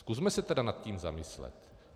Zkusme se tedy nad tím zamyslet.